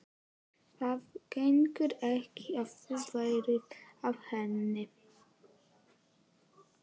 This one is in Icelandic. Það gengur ekki að þú verðir af henni.